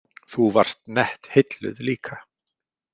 Þú varst nett heilluð líka.